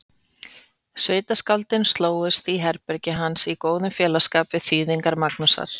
Sveitaskáldin slógust í herbergi hans í góðan félagsskap við þýðingar Magnúsar